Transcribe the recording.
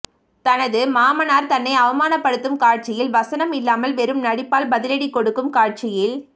தனது மாமனார் தன்னை அவமானப்படுத்தும் காட்சியில் வசனம் இல்லாமல் வெறும் நடிப்பால் பதிலடி கொடுக்கும் காட்சியில்